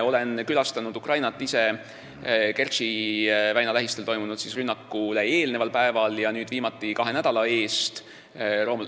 Ma külastasin Ukrainat Kertši väina rünnakule eelnenud päeval ja nüüd viimati kahe nädala eest.